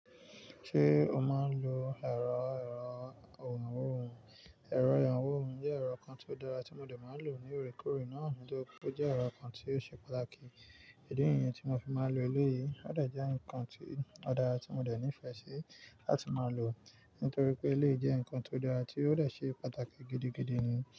Ṣé o máa ń lo ẹ̀rọ ìrànwó òhún? Ẹ̀rọ ìrànwó òún jẹ́ ẹ̀rọ kan tó dára tí mo dè máa ń lò ní oòrékoòré náà, nitorí pé ó jẹ́ ẹ̀rọ kan ti ó ṣe pàtàkì. Di niyẹn tí mo fi máa ń lo eléyìí ó dẹ̀ jẹ́ ǹnkan ti ó dára tí mo dẹ̀ nífẹ̀ẹ́ sí láti máa lò, nítorí pé eléyii jẹ́ ǹnkan ti ó dára tí ó dẹ̀ ṣe pàtàkì gidigidi ni.